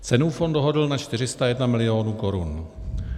Cenu Fond dohodl na 401 milionů korun.